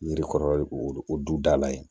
Yiri kɔrɔ ye o du dala yen